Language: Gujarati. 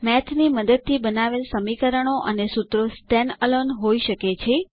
મેથ ની મદદથી બનાવેલ સમીકરણો અને સુત્રો સ્ટેન્ડ અલોને હોય શકે છે